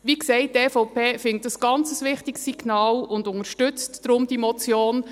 Wie gesagt, die EVP findet dies ein ganz wichtiges Signal und unterstützt deshalb diese Motion.